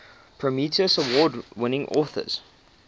prometheus award winning authors